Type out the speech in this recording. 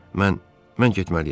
Mən mən getməliyəm.